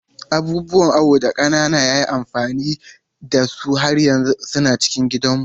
Abubuwan awo da kakana ya yi amfani da su har yanzu suna cikin gidanmu.